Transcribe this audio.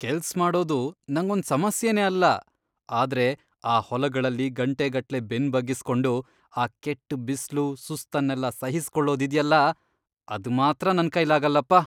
ಕೆಲ್ಸ್ ಮಾಡೋದು ನಂಗೊಂದ್ ಸಮಸ್ಯೆನೆ ಅಲ್ಲ, ಆದ್ರೆ ಆ ಹೊಲಗಳಲ್ಲಿ ಗಂಟೆಗಟ್ಲೆ ಬೆನ್ನ್ ಬಗ್ಗಿಸ್ಕೊಂಡು, ಆ ಕೆಟ್ಟ್ ಬಿಸ್ಲು, ಸುಸ್ತನ್ನೆಲ್ಲ ಸಹಿಸ್ಕೊಳೋದಿದ್ಯಲ್ಲ, ಅದ್ಮಾತ್ರ ನನ್ಕೈಲಾಗಲ್ಲಪ್ಪ.